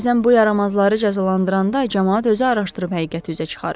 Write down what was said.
Bəzən bu yaramazları cəzalandıranda camaat özü araşdırıb həqiqəti üzə çıxarır.